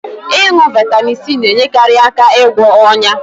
Ịṅụ Vaitamin C na-enyere aka na-ịgwọ onya